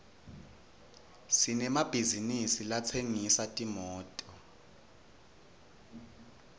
sinemabhizisi latsengisa timoto